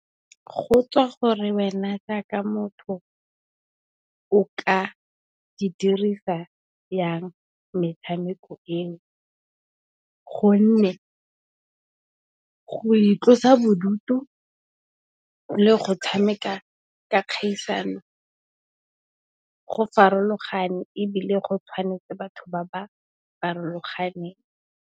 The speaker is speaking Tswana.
Go tswa gore wena jaaka motho, o ka e dirisa yang metshameko eo gonne, go itlosa bodutu le go tshameka ka kgaisano go farologane ebile, go tshwanetse batho ba ba farologaneng.